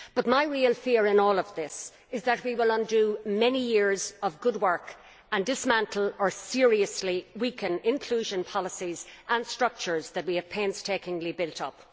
My real fear in all of this is that we will undo many years of good work, and dismantle or seriously weaken inclusion policies and structures that we have painstakingly built up.